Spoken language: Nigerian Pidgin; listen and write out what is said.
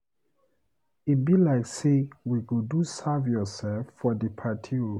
E be like sey we go do serve-yoursef for di party o.